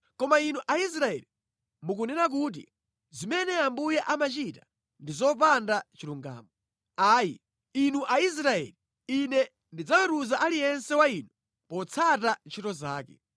Koma Inu Aisraeli, mukunena kuti, ‘Zimene Ambuye amachita ndi zopanda chilungamo.’ Ayi, inu Aisraeli, Ine ndidzaweruza aliyense wa inu potsata ntchito zake.”